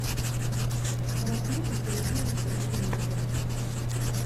рахмата сергеевича игумнова